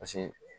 Paseke